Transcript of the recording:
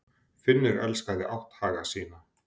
Finnur elskaði átthaga sína.